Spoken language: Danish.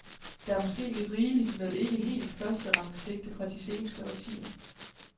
Der er måske lidt rigeligt med ikke helt førsterangs digte fra de seneste årtier.